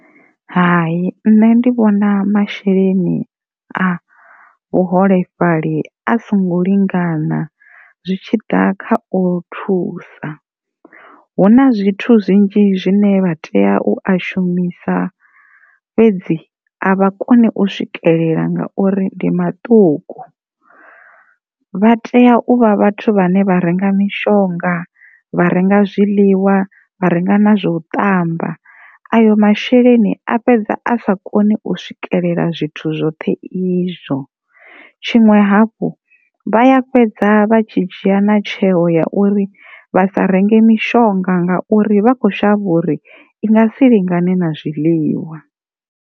Hai, nṋe ndi vhona masheleni a vhaholefhali a songo lingana zwi tshi ḓa kha u thusa hu na zwithu zwine zwinzhi zwine vha tea u a shumisa fhedzi a vha koni u swikelela ngauri ndi maṱuku, vha tea u vha vhathu vhane vha renga zwiḽiwa, vha renga mishonga vha renga na zwa u ṱamba, ayo masheleni a fhedza a sa koni u swikelela zwithu zwoṱhe izwo tshiṅwe hafhu vha ya fhedza vha tshi dzhia na tsheo ya uri vha sa renge mishonga ngauri vha kho shavha uri i sa lingane na zwiḽiwa.